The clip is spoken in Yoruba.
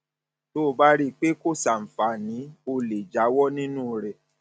tó o bá rí i pé kò ṣàǹfààní o lè jáwọ nínú rẹ